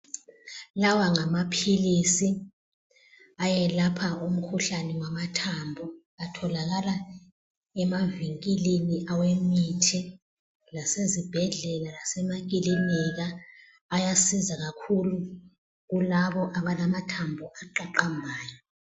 Lawa ngamaphilisi ayelapha umkhuhlane wamathambo. Atholakala emavinkilini awe mithi lasezibhedlela lasemakilinika. Ayasiza kakhulu kulabo abalamathambo aqaqambayo.